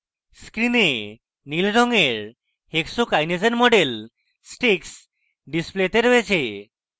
আমাদের screen নীল রঙের hexokinase we model sticks ডিসপ্লেতে রয়েছে